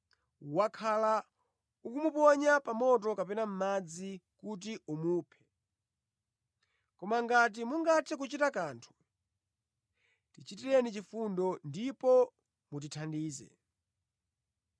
wakhala ukumuponya pa moto kapena mʼmadzi kuti umuphe. Koma ngati mungathe kuchita kanthu, tichitireni chifundo ndipo mutithandize.”